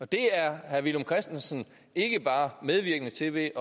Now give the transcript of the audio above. det er herre villum christensen ikke bare medvirkende til ved